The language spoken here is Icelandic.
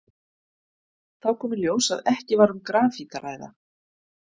Þá kom í ljós að ekki var um grafít að ræða.